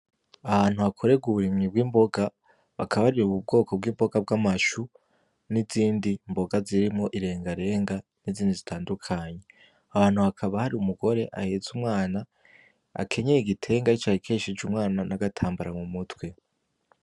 Ahantu hakorerwa uburimyi bw'imboga bakaba ariri, ubu bwoko bw'imboga bw'amashu n'izindi mboga zirimo irenga renga n'izindi zitandukanyi ahantu hakaba hari umugore aheza umwana akenyaye igitenga cah ikeshije umwana n'agatambara mu mutwe.